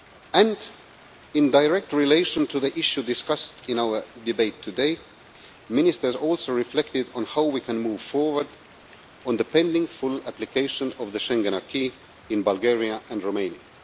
And, in direct relation to the issue discussed in our debate today, Ministers also reflected on how we can move forward on the pending full application of the Schengen acquis in Bulgaria and Romania.